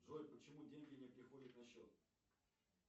джой почему деньги не приходят на счет